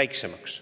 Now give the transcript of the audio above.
väiksemaks.